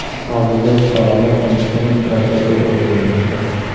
Hozirda fuqarolar qilmishini prokuratura o‘rganmoqda.